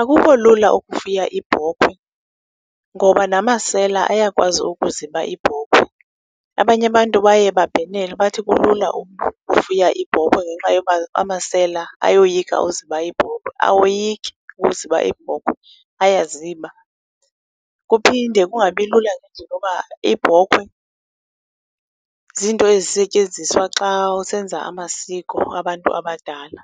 Akukho lula ukufuya iibhokhwe ngoba namasela ayakwazi ukuziba iibhokhwe, abanye abantu baye babhenele bathi kulula ukufuya iibhokhwe ngenxa yoba amasela ayoyika uziba iibhokhwe. Awoyiki uziba iibhokhwe, ayaziba. Kuphinde kungabilula ngendlela yoba iibhokhwe ziinto ezisetyenziswa xa usenza amasiko abantu abadala.